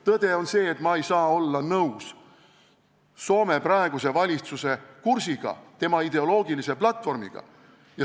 Tõde on see, et ma ei saa olla nõus Soome praeguse valitsuse kursiga, tema ideoloogilise platvormiga.